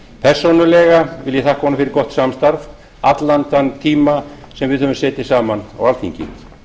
persónulega vil ég þakka honum fyrir gott samstarf allan þann tíma sem við höfum setið saman á alþingi